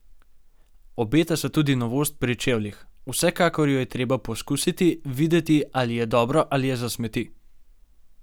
Obeta se tudi novost pri čevljih: 'Vsekakor jo je treba poizkusiti, videti, ali je dobro ali je za smeti.